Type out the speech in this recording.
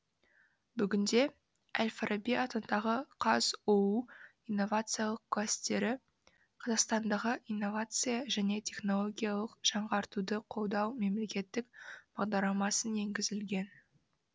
бүгінде әл фараби атындағы қазұу инновациялық кластері қазақстандағы инновация және технологиялық жаңғыртуды қолдау мемлекеттік бағдарламасына енгізілген